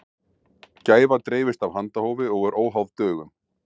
gæfa dreifist af handahófi og er óháð dögum